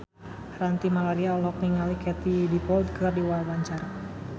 Ranty Maria olohok ningali Katie Dippold keur diwawancara